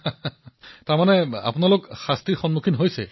প্ৰধানমন্ত্ৰীঃ হাঁহি মানে আপোনালোকে শাস্তিৰ সন্মুখীন হৈছে